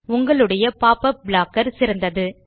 உங்களுடைய popup blocker சிறந்தது